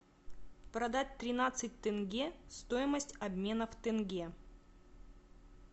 продать тринадцать тенге стоимость обмена в тенге